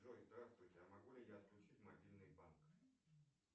джой здравствуйте а могу ли я отключить мобильный банк